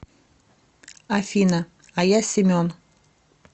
афина а я семен